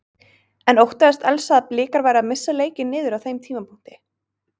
En óttaðist Elsa að Blikar væru að missa leikinn niður á þeim tímapunkti?